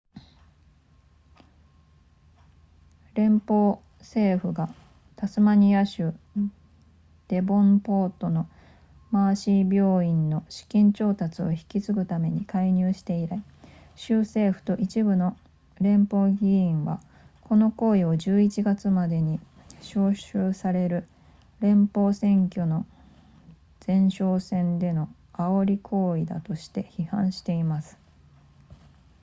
連邦政府がタスマニア州デボンポートのマーシー病院の資金調達を引き継ぐために介入して以来州政府と一部の連邦議員はこの行為を11月までに招集される連邦選挙の前哨戦での煽り行為だとして批判しています